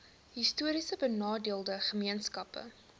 histories benadeelde gemeenskappe